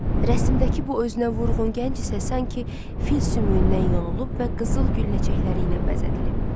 Rəsmdəki bu özünə vurğun gənc isə sanki fil sümüyündən yonulub və qızıl gül ləçəkləri ilə bəzədilib.